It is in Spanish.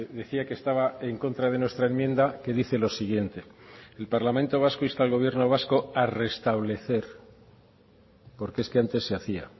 decía que estaba en contra de nuestra enmienda que dice lo siguiente el parlamento vasco insta al gobierno vasco a restablecer porque es que antes se hacía